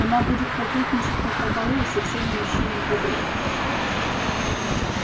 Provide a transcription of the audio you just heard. она будет кокетничать напропалую со всеми мужчинами подряд